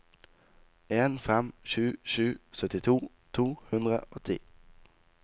en fem sju sju syttito to hundre og ti